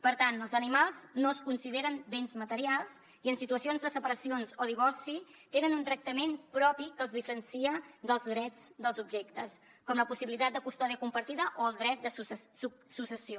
per tant els animals no es consideren bens materials i en situacions de separacions o divorci tenen un tractament propi que els diferencia dels drets dels objectes com la possibilitat de custòdia compartida o el dret de successió